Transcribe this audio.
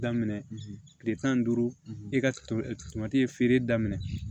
Daminɛ kile tan ni duuru i ka to tomati ye feere daminɛ